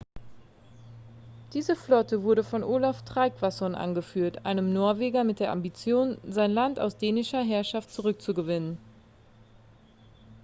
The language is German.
diese flotte wurde von olaf trygvasson angeführt einem norweger mit der ambition sein land aus dänischer herrschaft zurückzugewinnen